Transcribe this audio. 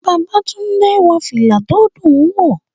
Babátúndé wọ fìlà tó dùn wò